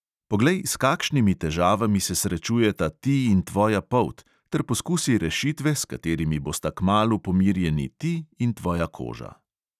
Poglej, s kakšnimi težavami se srečujeta ti in tvoja polt, ter poskusi rešitve, s katerimi bosta kmalu pomirjeni ti in tvoja koža.